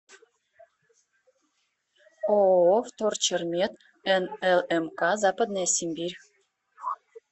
ооо вторчермет нлмк западная сибирь